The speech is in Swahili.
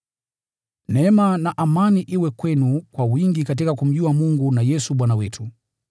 Neema na amani iwe kwenu kwa wingi katika kumjua Mungu na Yesu Bwana wetu.